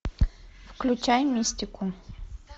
включай мистику